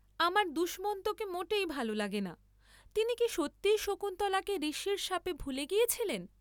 আমার দুষ্মন্তকে মোটেই ভাল লাগে না, তিনি কি সত্যিই শকুন্তলাকে ঋষির শাপে ভুলে গিয়েছিলেন?